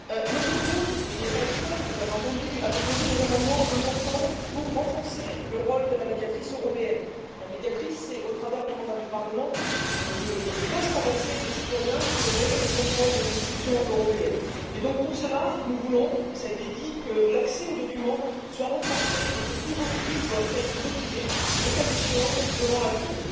Notre groupe, mais il n'est pas le seul vous l'avez entendu a déposé des amendements importants pour renforcer le rôle de la Médiatrice européenne. La Médiatrice est, au travers du mandat du Parlement, le poste avancé des citoyens pour opérer le contrôle des institutions européennes. Pour cela, nous voulons cela a été dit que l'accès aux documents soit renforcé et que tout refus soit motivé, le cas échéant, devant la Cour.